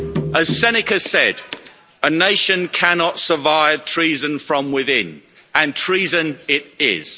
As Seneca said, a nation cannot survive treason from within and treason it is.